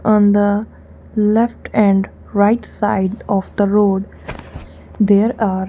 on the left and right side of the road there are.